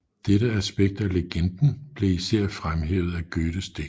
Dette aspekt af legenden blev især fremhævet af Goethes digt